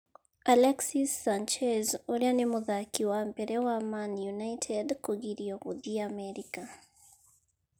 Alexis Sanchez ũria nĩ mũthaki wa mbere wa Man Utd kũgirio gũthiĩ Amerika